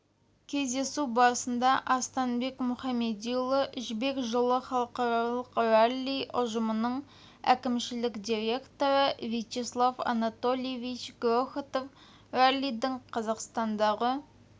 кездесу барысында арыстанбек мұхамедиұлы жібек жолы халықаралық ралли ұжымының әкімшілік директоры вячеслав анатольевич грохотов раллидің қазақстандағы